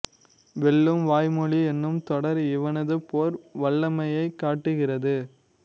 வெல்லும் வாய்மொழி என்னும் தொடர் இவனது போர் வல்லமையைக் காட்டுகிறது